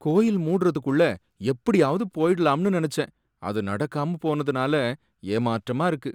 கோவில் மூடறதுக்குள்ள எப்படியாவது போயிடலாம்னு நினைச்சேன் அது நடக்காம போனதுனால ஏமாற்றமா இருக்கு.